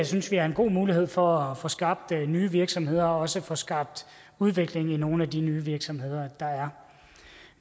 synes vi er en god mulighed for at få skabt nye virksomheder og også få skabt udvikling i nogle af de nye virksomheder der er